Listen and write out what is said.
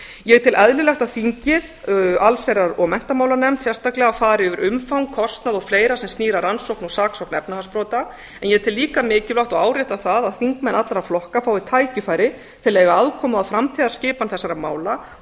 ég tel eðlilegt að þingið allsherjar og menntamálanefnd sérstaklega fari yfir umfang kostnað og fleira sem ár að rannsókn og saksókn efnahagsbrota en ég tel líka mikilvægt og árétta það að þingmenn allra flokka fái tækifæri til að eiga að komu að framtíðarskipan þessara mála